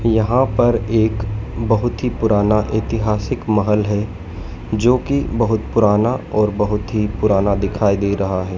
यहां पर एक बहोत ही पुराना ऐतिहासिक महल है जो की बहोत पुराना और बहोत ही पुराना दिखाई दे रहा है।